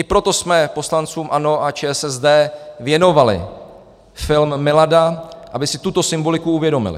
I proto jsme poslancům ANO a ČSSD věnovali film Milada, aby si tuto symboliku uvědomili.